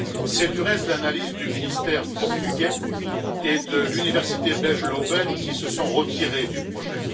C'est du reste l'analyse du ministère portugais et de l'université belge Leuven, qui se sont retirés du projet.